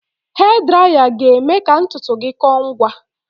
Hee draya ga-eme ka ntutu gị kọọ ngwa